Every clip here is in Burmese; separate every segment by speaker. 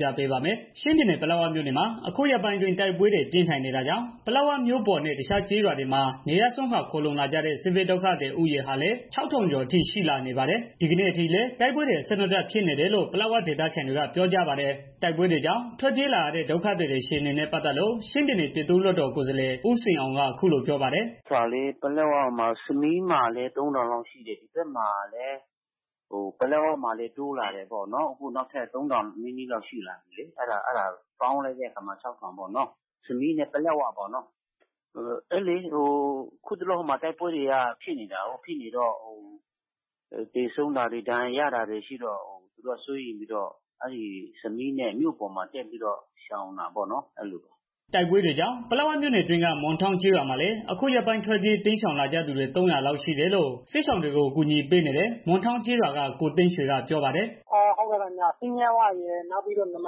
Speaker 1: ပြပေးထားပါတယ်။ ချင်းပြည်နယ် ပလက်ဝမြို့နယ်မှာ အခုရက်ပိုင်းအတွင်း တိုက်ပွဲတွေ ပြင်းထန်နေတာကြောင့် ပလက်ဝမြို့ပေါ်နဲ့ တစ်ခြားကျေးရွာတွေမှာ နေရပ်စွန့်ခွာခိုလုံလာကြတဲ့ စစ်ဘေးဒုက္ခသည်ဦးရေဟာလည်း ၆ ထောင်ကျော်အထိ ရှိလာနေပါ တယ်။ ဒီကနေ့အထိလည်း တိုက်ပွဲတွေ အဆက်မပြတ် ဖြစ်နေတယ်လို့ ပလက်ဝဒေသခံတွေက ပြောကြပါတယ်။ တိုက်ပွဲကြောင့် ထွက်ပြေးကြရတဲ့ ဒုက္ခသည်တွေအခြေအနေနဲ့ပတ်သက်လို့ ချင်းပြည်နယ် ပြည်သူ့လွတ်တော် ကိုယ်စားလှယ် ဦးစိန်အောင်က အခုလို ပြောပါ တယ်။
Speaker 2: "ပလက်ဝမှာရော၊ စမီးမှာလည်း သုံးထောင်လောက်ရှိတယ်။ ပလက်ဝမှာလည်း တိုးလာတယ်ဆိုတော့ သုံးထောင် လောက်ရှိတယ် စမီးနဲ့ ပလက်ဝပေါင်းလိုက်ရင် ၆ ထောင် လောက်ရှိတယ်ပေါ့နော်။ အခုတစ်လော တိုက်ပွဲတွေ ဖြစ်နေတော့ သေဆုံးတာတွေ ဒဏ်ရာရတာတွေ ရှိတော့ သူတို့က စိုးရိမ်ပြီးတော့ စမီးနဲ့ မြို့ပေါ်ကို တက်ပြီး တော့ ရှောင်တာပေါ့နော်။"
Speaker 1: တိုက်ပွဲတွေကြောင့် ပလက်ဝမြို့နယ်အတွင်းက မွန်ထောင့်ကျေးရွာမှာလည်း အခုရက်ပိုင်းထွက်ပြေ တိမ်းရှောင်လာကြသူတွေ ၃၀၀ လောက်ရှိတယ်လို့ စစ်ရှောင်တွေကို ကူညီပေးနေတဲ့ မွန်တောင့်ကျေးရွာက ကိုသိန်းရွှေက ပြောပါတယ်။
Speaker 3: "ပိညဝတ်ရယ် နောက်ပြီးတော့ နမ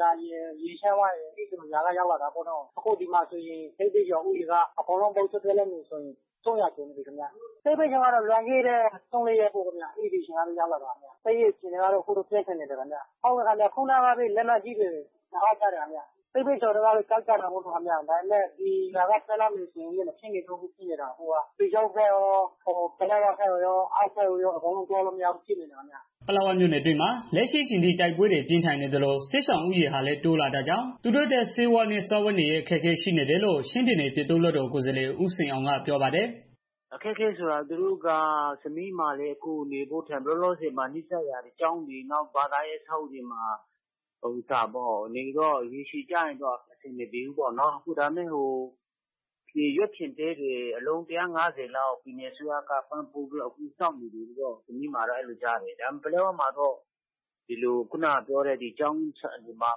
Speaker 3: ဒါရယ် ရေချမ်းဝရယ် အဲဒီရွာတွေကရောက်လာကြတာပေါ့နော်။ အခုဆိုရင် ဒီမှာ အကုန်လုံးက စစ်ရှောင်ဦးရေ ၃၀၀ ကျော်နေပါပြီခင်ဗျ။ လွန်ခဲ့တဲ့ ၄ရက်လောက်က ရောက်လာကြတာပေါ့။ တိုက်ပွဲအခြေအနေကတော့ အခုလက်ရှိပြင်းထန်နေတယ်။ ခုနကပဲ လက်နက်ကြီး ကျည်တွေကျလာတယ်။ စစ်ရှောင်တွေကတော့ ကြောက်နေကြတာပေါ့။ ဒါပေမယ့် ဒီရွာက ထွက်သွားလို့လည်းမရဘူး။ ပီချောင်းဖက် ရော ပလက်ဝဖက်ရော အောက်ဖက်ကိုရော သွားလို့မရဘူးဖြစ် နေပါတယ်ခင်ဗျာ။
Speaker 1: " ပလက်ဝမြို့နယ်အတွင်းမှာ လက်ရှိအချိန်ထိ တိုက်ပွဲတွေ ပြင်းထန်နေသလို စစ်ရှောင်ဦးရေတွေဟာလည်း တိုးလာတာကြောင့် သူတို့အတွက် ဆေးဝါးနဲ့ စားဝတ်နေရေးအခက်အခဲ ရှိနေတယ်လို့ ချင်းပြည်နယ် ပြည်သူ့ လွတ်တော် ကိုယ်စားလှယ် ဦးစိန်အောင်ကပြောပါတယ်
Speaker 2: ။ "အခက်အခဲကတော့ စမီးမှာလည်း နေဖို့ထိုင်ဖို့က လောလောဆယ်မှာတော့ ကျောင်းတွေ ဘာသာရေး အဆောက်အအုံတွေမှာ နေတော့ ရေရှည်ကြလျှင်တော့ အဆင်မပြေဘူးပေါ့နော်။ နောက်တော့ ရွက်ဖျင်တဲတွေ အလုံး ၁၅၀လောက် ပြည်နယ်အစိုးရက အခုဆောက်ပေးနေတယ်လို့ ကြားတယ်။ ပလက်ဝမှာတော့ စာသင်ကျောင်းတွေ ဘာ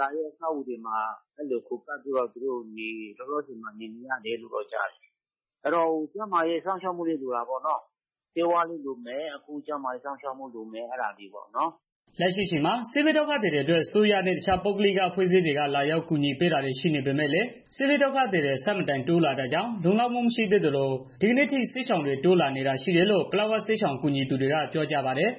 Speaker 2: သာရေး အဆောက်အအုံတွေမှာ ခိုကပ်ပြီး လောလောဆယ်မှာ နေကြရတယ်လို့ ကြားတယ်။ စားဝတ်နေရေး ၊ ဆေးဝါးနဲ့ ကျန်းမာရေး စောင့်ရှောက်မှုတွေ လိုမှာပေါ့နော်။"
Speaker 1: လက်ရှိအချိန်မှာ စစ်ဘေးဒုက္ခသည်တွေအတွက် အစိုးရနဲ့ တစ်ခြားပုဂ္ဂိလအဖွဲ့အစည်းတွေက လာရောက်ကူညီ တာတွေ ရှိနေပေမယ့်လည်း စစ်ဘေးဒုက္ခသည်တွေ အဆမတန်တိုးလာတာကြောင့် လုံလောက်မှုသေးလို ဒီနေ့အထိ စစ်ရှောင်တွေ ထပ်တိုးလာနေတာရှိတယ်လို့ ပလက်ဝ စစ်ရှောင်ကူညီသူတွေက ပြောကြပါတယ်